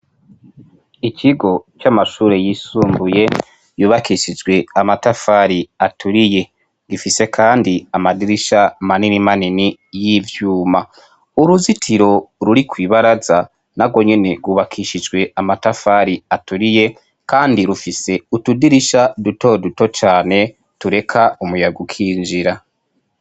Ikigo c'amashure y'isumbuye yubakishijwe amatafari aturiye, ifise Kandi amadirisha manini manini y'ivyuma, uruzitiro ruri ku ibaraza narwo nyene rwubakishijwe amatafari aturiye Kandi rufise utudirisha duto duto cane tureka umuyaga ukinjira.